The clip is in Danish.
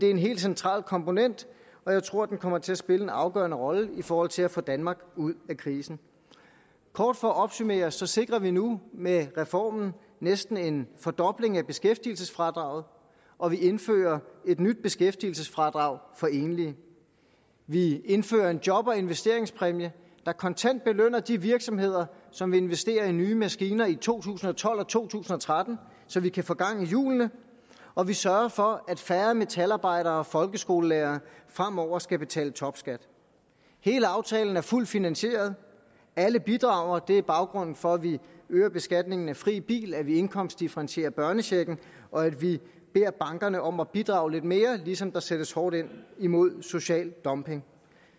er en helt central komponent og jeg tror den kommer til at spille en afgørende rolle i forhold til at få danmark ud af krisen kort for at opsummere sikrer vi nu med reformen næsten en fordobling af beskæftigelsesfradraget og vi indfører et nyt beskæftigelsesfradrag for enlige vi indfører en job og investeringspræmie der kontant belønner de virksomheder som investerer i nye maskiner i to tusind og tolv og to tusind og tretten så vi kan få gang i hjulene og vi sørger for at færre metalarbejdere og folkeskolelærere fremover skal betale topskat hele aftalen er fuldt finansieret alle bidrager og det er baggrunden for at vi øger beskatningen af fri bil at vi indkomstdifferentierer børnechecken og at vi beder bankerne om at bidrage lidt mere ligesom der sættes hårdt ind imod social dumping